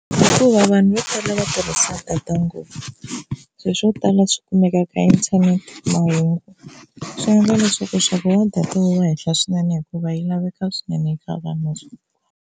Hikuva vanhu vo tala va tirhisa data ngopfu se swo tala swi kumeka ka internet, mahungu swi endla leswaku nxavo wa data wu va henhla swinene hikuva yi laveka swinene eka vanhu